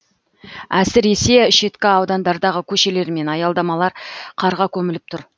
әсіресе шеткі аудандардағы көшелер мен аялдамалар қарға көміліп тұр